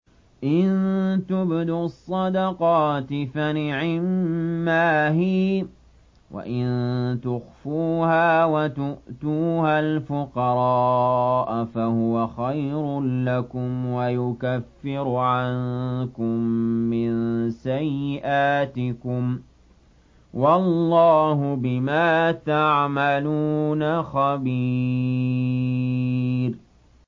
إِن تُبْدُوا الصَّدَقَاتِ فَنِعِمَّا هِيَ ۖ وَإِن تُخْفُوهَا وَتُؤْتُوهَا الْفُقَرَاءَ فَهُوَ خَيْرٌ لَّكُمْ ۚ وَيُكَفِّرُ عَنكُم مِّن سَيِّئَاتِكُمْ ۗ وَاللَّهُ بِمَا تَعْمَلُونَ خَبِيرٌ